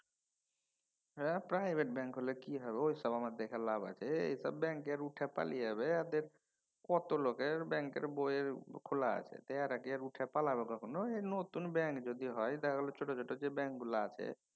হ্যা private bank হলে কি হবে ওইসব দেখা আমার লাভ আছে? এসব ব্যাঙ্ক কি আর উঠে পালিয়ে যাবে? এদের কত লোকের ব্যাঙ্কের বইয়ের খোলা আছে এঁরা কি আর উঠে পালাবে কখনও? সে নতুন ব্যাঙ্ক যদি হয় দেখা গেলো ছোট ছোট যে ব্যাঙ্কগুলো আছে।